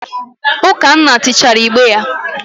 Ukanna tichaara igbe ya.